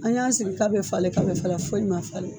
An y'an sigi k'a bɛ falen ka bɛ falen foyi ma falen.